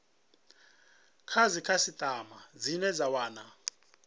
kha dzikhasitama dzine dza wana